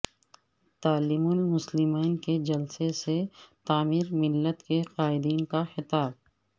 تعلیم المسلمین کے جلسہ سے تعمیر ملت کے قائدین کا خطاب